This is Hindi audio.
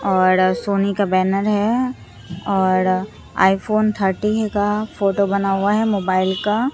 औड़ सोनी का बैनर है औड़ आईफोन थर्टीह का फोटो बना हुआ है मोबाइल का।